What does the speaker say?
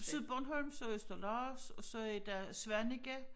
Sydbornholms og Østerlars og så er der Svaneke